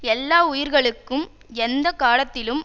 எல்லா உயிர்களுக்கும் எந்த காலத்திலும்